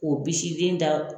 O bisi den da.